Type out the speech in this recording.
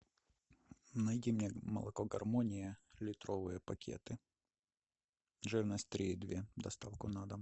найди мне молоко гармония литровые пакеты жирность три и две доставку на дом